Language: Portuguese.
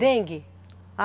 Dengue?